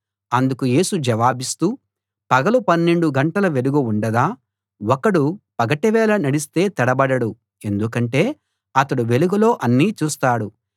అందుకు యేసు జవాబిస్తూ పగలు పన్నెండు గంటల వెలుగు ఉండదా ఒకడు పగటి వేళ నడిస్తే తడబడడు ఎందుకంటే అతడు వెలుగులో అన్నీ చూస్తాడు